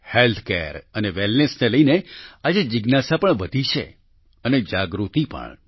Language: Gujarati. હેલ્થકેર અને વેલનેસ ને લઈને આજે જિજ્ઞાસા પણ વધી છે અને જાગૃતિ પણ